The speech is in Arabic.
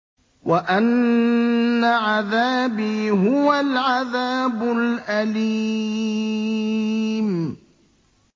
وَأَنَّ عَذَابِي هُوَ الْعَذَابُ الْأَلِيمُ